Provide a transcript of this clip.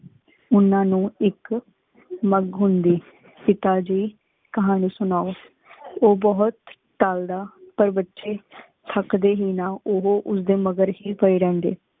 ਉਨਾ ਨੂ ਇਕ ਮਘ ਹੁੰਦੀ। ਪਿਤਾਜੀ ਕਹਾਨੀ ਸੁਨੋ। ਉ ਬੁਹਤ ਟਾਲਦਾ ਪਰ ਬੱਚੇ ਥੱਕਦੇ ਹੀ ਨਾ। ਓ ਉਸ ਦੇ ਮਗਰ ਹੀ ਪੈ ਰਹਿੰਦੇ।